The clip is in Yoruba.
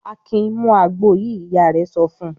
"Akin mú àgbo yìí!" Ìyá rẹ̀ sọ fún un.